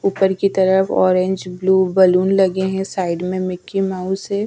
ऊपर की तरफ ऑरेंज ब्लू बैलून लगे हुए है साईड में मिक्की माउस है.